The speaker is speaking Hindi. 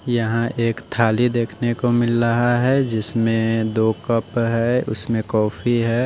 यहां एक थाली देखने को मिल लहा है जिसमें दो कप है उसमें कॉफी है।